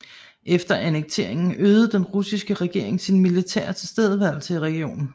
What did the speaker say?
Efter annekteringen øgede den russiske regering sin militære tilstedeværelse i regionen